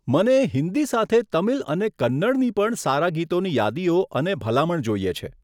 મને હિંદી સાથે તમિલ અને કન્નડની પણ સારા ગીતોની યાદીઓ અને ભલામણ જોઈએ છે.